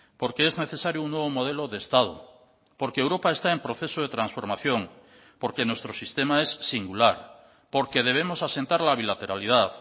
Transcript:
porque es necesario un nuevo modelo de estado porque europa está en proceso de transformación porque nuestro sistema es singular porque debemos asentar la bilateralidad